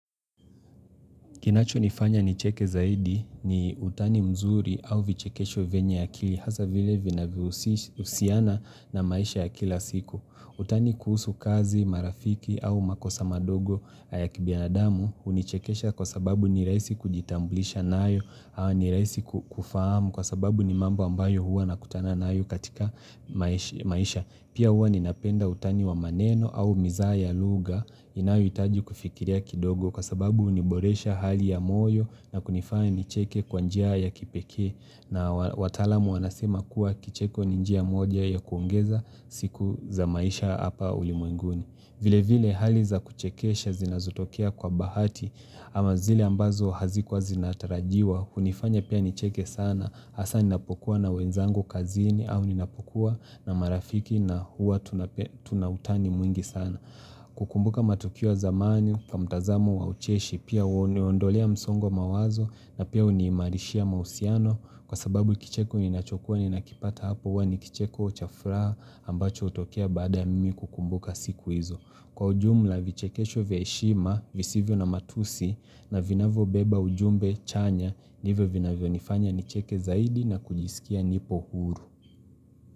Kinachonifanya nicheke zaidi ni utani mzuri au vichekesho venye akili hasa vile vinahusiana na maisha ya kila siku. Utani kuhusu kazi, marafiki au makosa madogo ya kibinadamu hunichekesha kwa sababu ni rahisi kujitambulisha nayo au ni rahisi kufahamu kwa sababu ni mambo ambayo hua nakutana nayo katika maisha. Pia huwa ninapenda utani wa maneno au mizaha ya lugha inayohitaji kufikiria kidogo kwa sababu huniboresha hali ya moyo na kunifanya nicheke kwa njia ya kipekee na wataalamu wanasema kuwa kicheko ni njia moja ya kuongeza siku za maisha hapa ulimwenguni. Vile vile hali za kuchekesha zinazotokea kwa bahati ama zile ambazo hazikuwa zinatarajiwa, hunifanya pia nicheke sana, hasa ninapokuwa na wenzangu kazini au ninapokuwa na marafiki na huwa tuna utani mwingi sana. Kukumbuka matukio ya zamani kwa mtazamu wa ucheshi pia huniondolea msongwa mawazo na pia huniimarishia mahusiano kwa sababu kicheko ninachokua ninakipata hapo huwa ni kicheko cha furaha ambacho hutokie baada ya mimi kukumbuka siku hizo. Kwa ujumla vichekesho vya heshima visivyo na matusi na vinavyobeba ujumbe chanya ndivyo vinavyonifanya nicheke zaidi na kujisikia nipo huru.